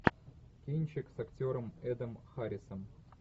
кинчик с актером эдом харрисом